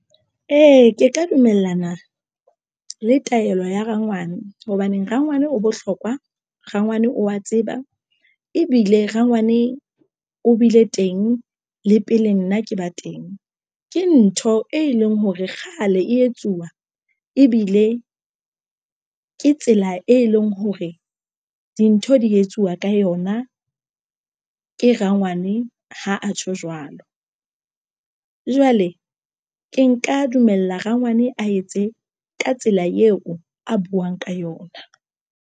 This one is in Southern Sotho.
Ee, ke ka dumellana le taelo ya rangwane hobaneng rangwane o bohlokwa. Rangwane o wa tseba ebile rangwane o bile teng le pele nna ke ba teng, ke ntho e leng hore kgale e etsuwa ebile ke tsela e leng hore dintho di etsuwa ka yona ke rangwane. Ha a tjho jwalo, jwale ke nka dumela rangwane a etse ka tsela eo a buwang ka yona.